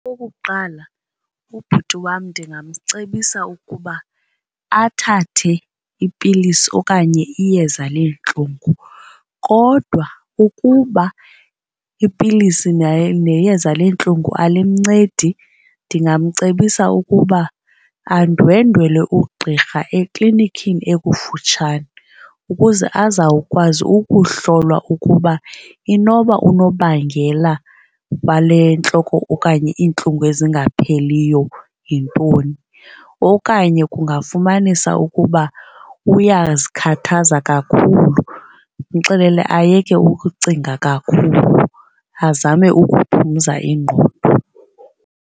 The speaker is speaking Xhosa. Okokuqala, ubhuti wam ndingamcebisa ukuba athathe ipilisi okanye iyeza leentlungu. Kodwa ukuba ipilisi neyeza leentlungu alimncedi ndingamcebisa ukuba andwendwele ugqirha eklinikini ekufutshane ukuze azawukwazi ukuhlolwa ukuba inoba unobangela wale ntloko okanye iintlungu ezingapheliyo yintoni. Okanye kungafumanisa ukuba uyazikhathaza kakhulu, ndimxelele ayeke ukucinga kakhulu azame ukuphumza ingqondo.